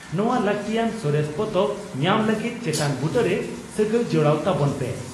ᱱᱚᱣᱟ ᱞᱟᱹᱜᱛᱤᱭᱟᱱ ᱥᱚᱨᱮᱥ ᱯᱚᱛᱚᱵ ᱧᱟᱢ ᱞᱟᱹᱜᱤᱫ ᱪᱮᱛᱟᱱ ᱵᱩᱴᱟᱹ ᱨᱮ ᱥᱟᱹᱜᱟᱹᱭ ᱡᱚᱲᱟᱣ ᱛᱟᱵᱚᱱ ᱯᱮ ᱾